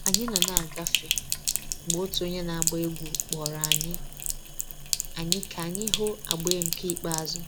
Anyị nọ na-agafe, mgbe otu onye na-agba egwú kpọrọ anyị anyị ka anyị hụ agba nke ikpeazụ